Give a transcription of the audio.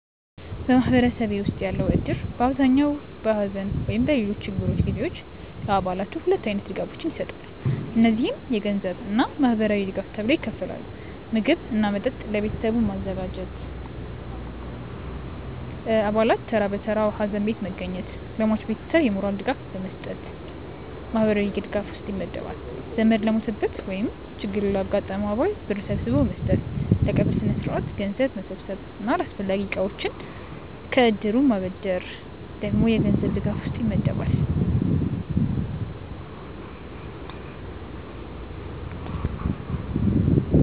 በማህበረሰቤ ውስጥ ያለው እድር በአብዛኛው በሐዘን ወይም በሌሎች ችግሮች ጊዜ ለአባላቱ ሁለት አይነት ድጋፎችን ይሰጣል። እነዚህም የገንዘብ እና ማህበራዊ ድጋፍ ተብለው ይከፈላሉ። ምግብ እና መጠጥ ለቤተሰቡ ማዘጋጀት፣ አባላት ተራ በተራ ሀዘን ቤት መገኘት፣ ለሟች ቤተሰብ የሞራል ድጋፍ መስጠት ማህበራዊ ድጋፍ ውስጥ ይመደባል። ዘመድ ለሞተበት ወይም ችግር ላጋጠመው አባል ብር ሰብስቦ መስጠት፣ ለቀብር ስነስርዓት ገንዘብ መሰብሰብ እና አስፈላጊ እቃዎችን ከእድሩ ማበደር ደግሞ የገንዘብ ድጋፍ ውስጥ ይመደባል።